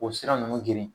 O sira ninnu geren